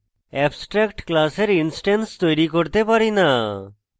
abstract class we instance তৈরী করতে পারি না